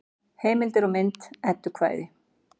Heimildir og mynd Eddukvæði.